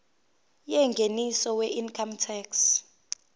yengeniso weincome tax